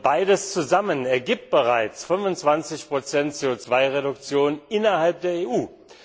Beides zusammen ergibt bereits 25 CO Reduktion innerhalb der EU.